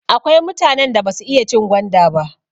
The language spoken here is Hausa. Akwai mutanen da basu iya cin gwanda ba.